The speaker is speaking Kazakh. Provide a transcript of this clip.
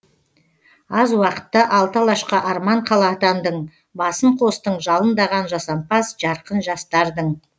аз уақытта алты алашқа арман қала атандың басын қостың жалындаған жасампаз жарқын жастардың